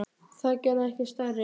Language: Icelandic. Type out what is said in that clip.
Það gerði okkur stærri.